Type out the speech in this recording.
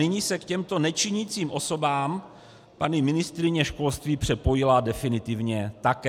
Nyní se k těmto nečinícím osobám paní ministryně školství připojila definitivně také.